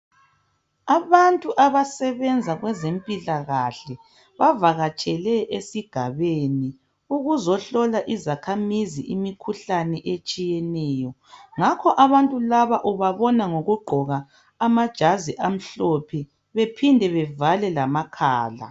Abantu abasebenza kwezempilakahle bavakatshele esigabeni ukuzohlola izakhamizi imikhuhlane etshiyeneyo, ngakho abantu laba ubabona ngokugqoka amajazi amhlophe bephinde bevale lamakhala.